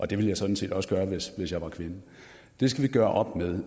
det ville jeg sådan set også gøre hvis jeg var kvinde det skal vi gøre op med